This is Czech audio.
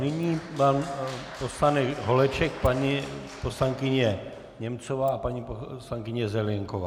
Nyní pan poslanec Holeček, paní poslankyně Němcová a paní poslankyně Zelienková.